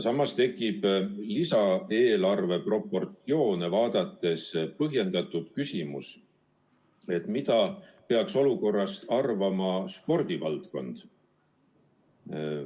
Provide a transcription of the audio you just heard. Samas tekib lisaeelarve proportsioone vaadates põhjendatud küsimus, et mida peaks olukorrast arvama spordivaldkond.